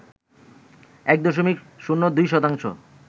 ১ দশমিক শূন্য ২ শতাংশ